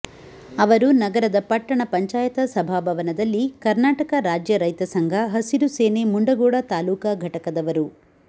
ಅವರು ನಗರದ ಪಟ್ಟಣ ಪಂಚಾಯತ ಸಭಾ ಭವನದಲ್ಲಿ ಕರ್ನಾಟಕ ರಾಜ್ಯ ರೈತ ಸಂಘ ಹಸಿರು ಸೇನೆ ಮುಂಡಗೋಡ ತಾಲೂಕಾ ಘಟಕದವರು